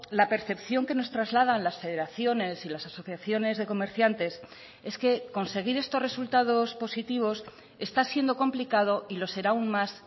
la percepción que nos trasladan las federaciones y las asociaciones de comerciantes es que conseguir estos resultados positivos está siendo complicado y lo será aún más